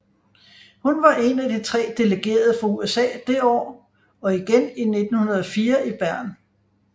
Hun var en af de tre delegerede fra USA det år og igen i 1904 i Bern